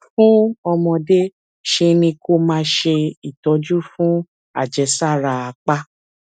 fún ọmọdé ṣe ni kó o máa ṣe ìtọjú fún àjẹsára apá